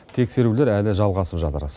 тексерулер әлі жалғасып жатыр